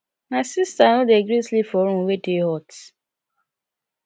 my sista no dey gree sleep for room wey dey hot